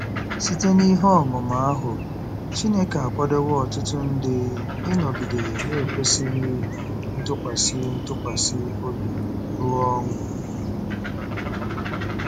Site n'ihe ọmụma ahụ, Chineke akwadowo ọtụtụ ndị ịnọgide na-ekwesị ntụkwasị ntụkwasị obi ruo ọnwụ.